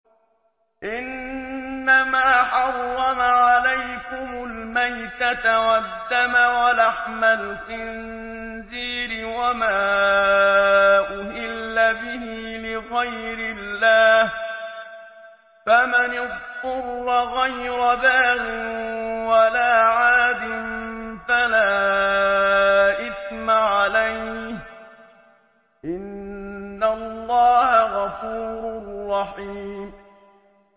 إِنَّمَا حَرَّمَ عَلَيْكُمُ الْمَيْتَةَ وَالدَّمَ وَلَحْمَ الْخِنزِيرِ وَمَا أُهِلَّ بِهِ لِغَيْرِ اللَّهِ ۖ فَمَنِ اضْطُرَّ غَيْرَ بَاغٍ وَلَا عَادٍ فَلَا إِثْمَ عَلَيْهِ ۚ إِنَّ اللَّهَ غَفُورٌ رَّحِيمٌ